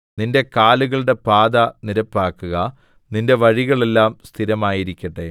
നിന്റെ കാലുകളുടെ പാത നിരപ്പാക്കുക നിന്റെ വഴികളെല്ലാം സ്ഥിരമായിരിക്കട്ടെ